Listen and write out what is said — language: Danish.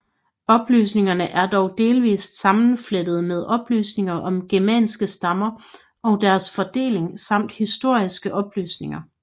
Oplysningerne er dog delvist sammenflettede med oplysninger om germanske stammer og deres fordeling samt historiske oplysninger